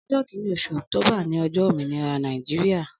Ọjọ kìní óṣú ọktóbà ni ọjọ ómìnírà Nàijiriá